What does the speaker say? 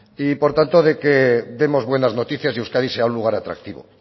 y por tanto de que demos buenas noticias y euskadi sea un lugar atractivo